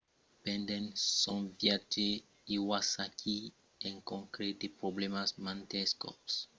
pendent son viatge iwasaki encontrèt de problèmas mantes còps